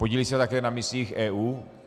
Podílí se také na misích EU.